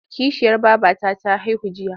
Kishiyar babata ta haihu jiya.